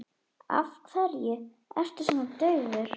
Af hverju ertu svona daufur?